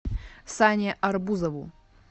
сане арбузову